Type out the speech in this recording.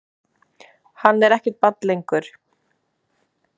Hann er ekkert barn lengur.